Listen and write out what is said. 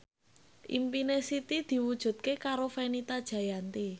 impine Siti diwujudke karo Fenita Jayanti